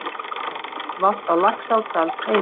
Húsbíll valt á Laxárdalsheiði